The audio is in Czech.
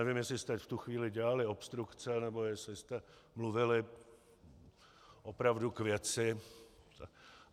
Nevím, jestli jste v tu chvíli dělali obstrukce, nebo jestli jste mluvili opravdu k věci.